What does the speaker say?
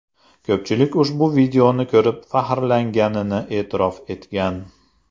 Ko‘pchilik ushbu videoni ko‘rib faxrlanganini e’tirof etgan .